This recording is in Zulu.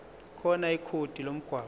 khona ikhodi lomgwaqo